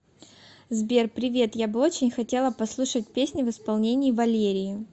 сбер привет я бы очень хотела послушать песни в исполении валерии